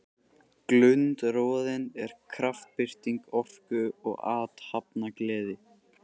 Glundroðinn er kraftbirting orku og athafnagleði.